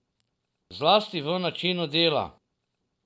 Zlasti v načinu dela.